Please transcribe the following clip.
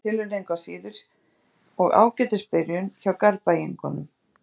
Fínasta tilraun engu að síður og ágætis byrjun hjá Garðbæingunum.